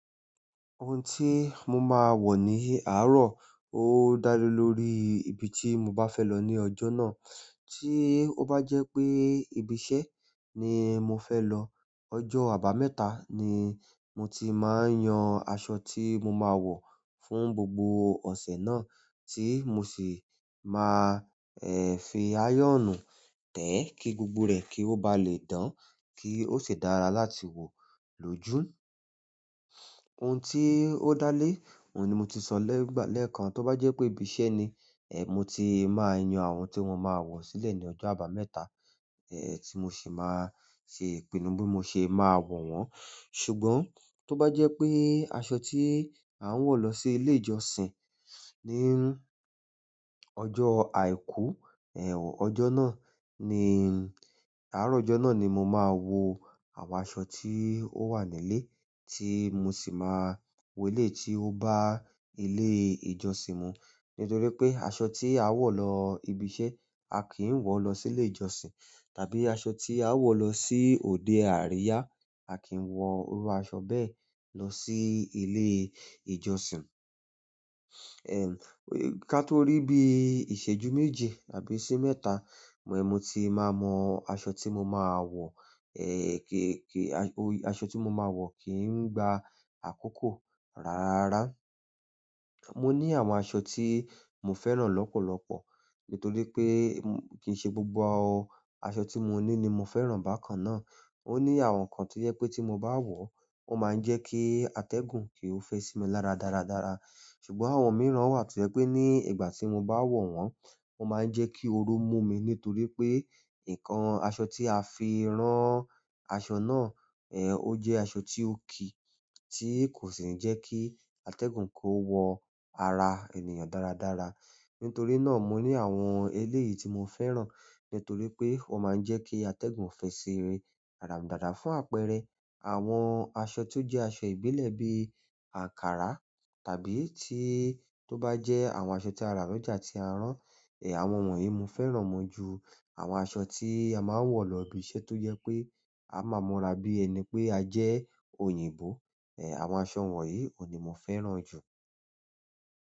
Ohun tí mo máa wọ̀ ní àárọ̀ ó dá lé lórí ibi tí mo bá fẹ́ lọ ní ọjọ́ náà. Tí ó bá jẹ́ pé ibi iṣẹ́ ni mo fẹ́ lọ, ọjọ́ àbámẹ́ta ni mo ti máa ń yan aṣọ tí mo máa wọ̀ fún gbogbo ọ̀sẹ̀ náà tí mo sì máa, fi ayọ́nú tẹ̀ kí gbogbo rẹ̀ kí ó ba lè dán kí ó sì dára láti wo lójú. Ohun tí ó dá lé, òun ni mo ti sọ lẹkan, tó bá jẹ́ pé ibi iṣẹ́ ni, mo ti máa yan àwọn tí wọn máa wọ̀ sílẹ̀ ní ọjọ́ àbámẹ́ta, tí mo sì máa ṣe ìpinnu bí mo ṣe máa wọ̀n wọ́n. Ṣùgbọ́n tó bá jẹ́ pé aṣọ tí à ń wọ̀ lọ sí ilé ìjọsìn ní ọjọ́ àìkú, ọjọ́ náà ni àárọ̀ ọjọ́ náà ni mo máa wo àwọn aṣọ tí ó wà nílé tí mo sì máa wo eleyi tí ó bá ilé ìjọsìn mu. Nítorí pé aṣọ tí a wọ̀ lọ ibi iṣẹ́, a kì í wọ̀ lọ sí ilé ìjọsìn. Tàbí aṣọ tí a wọ̀ lọ sí òde àríyá, a kì í wọ̀ irú aṣọ bẹ́ẹ̀ lọ sí ilé ìjọsìn. Ká tó rí bí ìṣẹ́jú méje àbí iṣẹ́ mẹ́ta, mo ti máa mọ aṣọ tí mo máa wọ̀, aṣọ tí mo máa wọ̀ kí ń gba àkókò rara. Mo ni àwọn aṣọ ti mo fẹ́ran lọpọlọpọ, nítorí pe kii ṣe gbogbo aṣọ ti mo ni ni mo fẹ́ bákan náà. Ó ní àwọnkan to jẹ pé tí mo bá wọ̀ ó máa ń jẹ́ kí atẹ́gùn kì o fẹ́ sí mi lára dáradára. Ṣùgbọ́n àwọn mìíràn wa to jẹ́ pe ni ìgbà ti mo ba wọ wọ́n o maa n jẹ ki ooru mu mi nítorí pe ǹkan aṣọ ti a fi rán aṣọ náà o jẹ aṣọ ti o ki ti ko si ni jẹ ki atẹ́gùn kó wọ ara ènìyàn dáradára. Nítorí náà mo ni àwọn eléyìí ti mo fẹ́ran nítorí pe wọ́n maa n jẹ ki atẹ́gùn fẹ́ si ara mi dáradára fún àpẹẹrẹ àwọn aṣọ ti o jẹ aṣọ ìbílẹ̀ bi Ankara tàbí tí tó bá jẹ́ àwọn aṣọ tí a rà lọ́jà tí a rán, àwọn wọ̀nyí mo fẹ́ràn wọn ju àwọn aṣọ tí a máa ń wọ̀ lọ ibi iṣẹ́ tó jẹ pé a máa mọura bí ẹni pé a jẹ́ òyìnbó, ehn, àwọn aṣọ wọ̀nyí òun ní mo fẹ́ràn jù.